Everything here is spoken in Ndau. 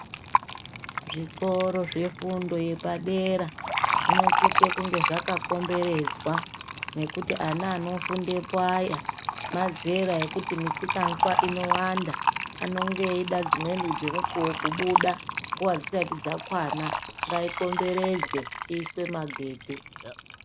Zvikora zvefundo yepadera zvinosiso kunge zvaka komberedzwa nekuti ana anofundepo aya mazera ekuti misikanzwa inowanda anenge eyida nedzimweni dzemukuwo kubuda nguva dzisati dzakwana ngayikomberedzwe iyiswe madedhe.